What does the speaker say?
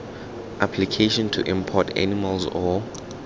application to import animals or